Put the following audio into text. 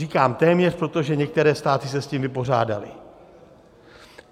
Říkám téměř, protože některé státy se s tím vypořádaly.